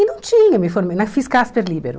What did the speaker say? E não tinha, me formei, na fiz Casper Líbero.